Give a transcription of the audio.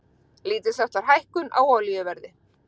Lítilsháttar hækkun á olíuverði